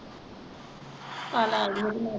ਕੱਲ ਆਜਿਓ ਫੇਰ।